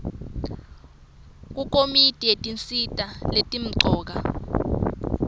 kukomiti yetinsita letimcoka